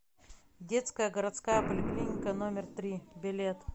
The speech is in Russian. детская городская поликлиника номер три билет